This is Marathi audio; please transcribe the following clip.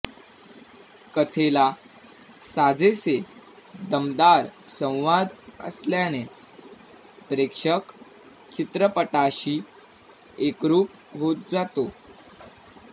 कथेला साजेसे दमदार संवाद असल्याने प्रेक्षक चित्रपटाशी एकरूप होत जातो